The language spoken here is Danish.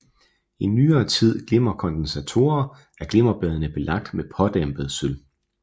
I nyere typer glimmerkondensatorer er glimmerbladene belagt med pådampet sølv